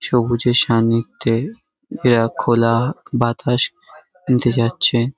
সবুজের সান্নিধ্যে এরা খোলা বাতাস নিতে যাচ্ছে।